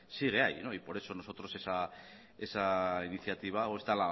sigue ahí y por eso nosotros esa iniciativa o esta